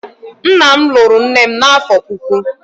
nna m lụrụ nne m n'afọ puku.